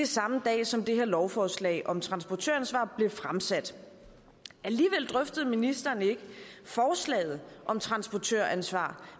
samme dag som det her lovforslag om transportøransvar blev fremsat alligevel drøftede ministeren ikke forslaget om transportøransvar